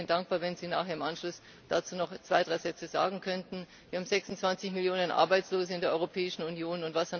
Ich wäre Ihnen dankbar, wenn Sie im Anschluss dazu noch zwei, drei Sätze sagen könnten. Wir haben 26 Millionen Arbeitslose in der Europäischen Union.